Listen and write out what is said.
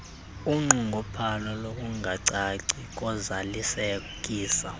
unqongophalo lokungacaci kozalisekiso